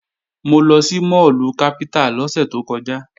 Mo lọ sí máàlù Capital lọ́sẹ̀ tó kọjá